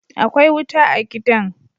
Akwai wuta a gidan